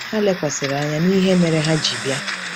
Ha lekwasịrị anya n’ihe mere ha ji bịa.